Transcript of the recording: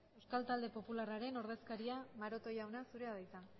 euskal talde popularraren ordezkaria maroto jauna zurea da hitza